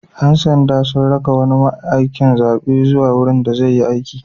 Ƴan sanda sun raka wani mai aikin zaɓe zuwa wurin da zai yi aiki.